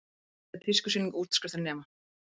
Glæsileg tískusýning útskriftarnema